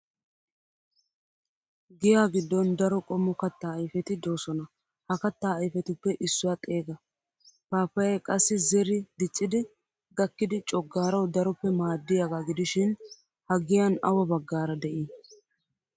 Giyaa giddon daro qommo kattaa ayfeti doosona ha kattaa ayfetuppe issuwa xeega? Paappayay qassi zeri diccidi gakkidi coggarawu daroppe maaddiyaagaa gidishin ha giyan awa baggaara de'ii?